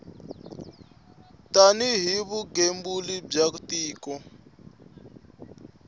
tani hi vugembuli bya tiko